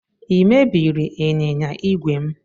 Ị mebiri ịnyịnya igwe m?